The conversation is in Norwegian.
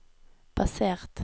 basert